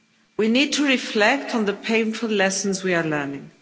We need to reflect on the painful lessons we are learning.